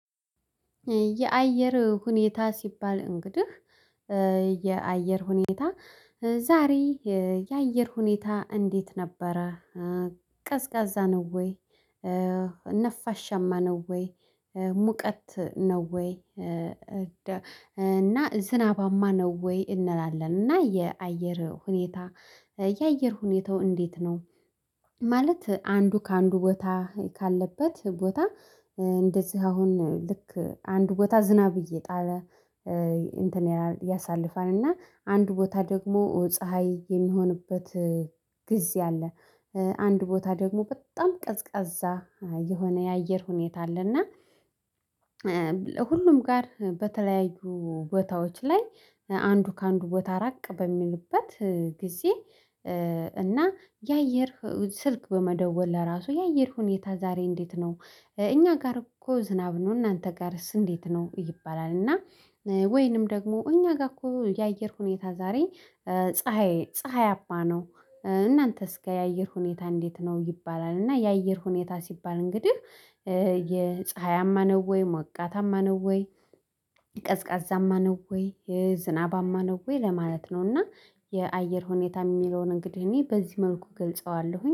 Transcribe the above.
የአየር ሁኔታ ሲባል እንግዲህ የአየር ሁኔታ ዛሬ የአየር ሁኔታ እንዴት ነበረ? ቀዝቃዛ ነው ወይ ነፋሻማ ነው ወይ ሙቀት ነው ወይ? እና ዝናባማ ነው ወይ እንላለን እና የአየር ሁኔታ የአየር ሁኔታው እንዴት ነው? ማለት አንዱ ከአንዱ ቦታ ካለበት ቦታ እንደዚህ አሁን ልክ አንዱ ቦታ ዝናብ እየጣለ እንትን ያሳልፋል እና አንድ ቦታ ደግሞ ፀሀይ የሚሆንበት ጊዜ አለ። አንድ ቦታ ደግሞ በጣም ቀዝቃዛ የሆነ የአየር ሁኔታ አለና። ለሁሉም ጋር በተለያዩ ቦታዎች ላይ አንዱ ከአንዱ ቦታ ራቅ በሚልበት ጊዜ። እና የአየር ስልክ በመደወል ለራሱ የአየር ሁኔታ ዛሬ እንዴት ነው እኛ ጋር እኮ ዝናብ ነው እናንተ ጋርስ እንዴት ነው ይባላል። እና ወይንም ደግሞ እኛ ጋር እኮ የአየር ሁኔታ ዛሬ ፀሀይ ፀሀያማ ነው። እናንተስ ጋር የአየር ሁኔታ እንዴት ነው ይባላል። እና የአየር ሁኔታ ሲባል እንግዲህ የፀሀያማ ነው ወይ ሞቃታማ ነው ወይ ቀዝቃዛማ ነው ወይ የዝናባማ ነው ወይ ለማለት ነው። እና የአየር ሁኔታ የሚለውን እንግዲህ እኔ በዚህ መልኩ እገልጸዋለሁኝ